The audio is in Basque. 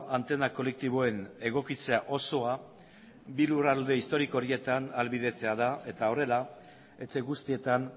antena kolektiboen egokitzea osoa bi lurralde historiko horietan ahalbidetzea da eta horrela etxe guztietan